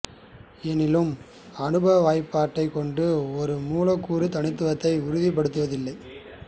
எனினும் அனுபவ வாய்ப்பாடைக் கொண்டு ஒரு மூலக்கூறின் தனித்துவத்தை உறுதிபடுத்த முடிவதில்லை